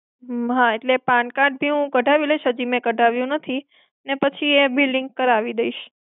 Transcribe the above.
હા એટલે હૂંઉ pan card હું કઢાવી લઈશ, હજી મેં કઢાવ્યું નથી. ને પછી એ બી link કરાવી દઈશ.